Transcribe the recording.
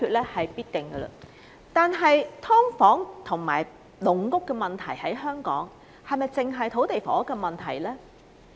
然而，本港"劏房"和"籠屋"的問題，是否單純土地及房屋問題呢？